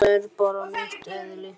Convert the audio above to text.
Þetta er bara mitt eðli.